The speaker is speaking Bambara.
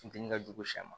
Funteni ka jugu sɛ ma